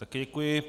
Také děkuji.